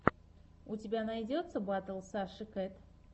у тебя найдется батл саши кэт